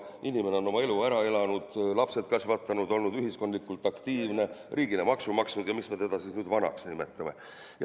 Inimene on oma elu ära elanud, lapsed kasvatanud, olnud ühiskondlikult aktiivne, riigile maksu maksnud ja miks me teda siis nüüd vanaks nimetame.